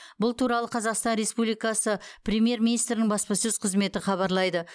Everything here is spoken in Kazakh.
бұл туралы қазақстан республикасы премьер министрінің баспасөз қызметі хабарлайды